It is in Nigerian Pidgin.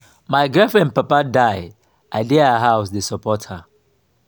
my girlfriend papa die i dey her house dey support her.